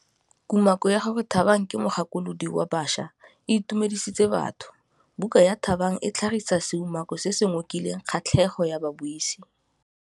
Kumakô ya gore Thabang ke mogakolodi wa baša e itumedisitse batho. Buka ya Thabang e tlhagitse seumakô se se ngokileng kgatlhegô ya babuisi.